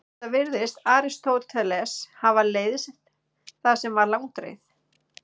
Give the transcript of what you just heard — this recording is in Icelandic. Enda virðist Aristóteles hafa leiðst það sem var langdregið.